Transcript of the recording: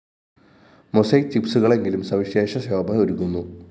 mosaic ചിപ്‌സുകളെങ്കിലും സവിശേഷ ശോഭ ഒരുക്കുന്നു